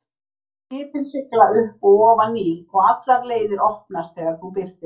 Skipin sigla upp og ofan Níl, og allar leiðir opnast þegar þú birtist.